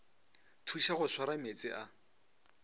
thuša go swara meetse a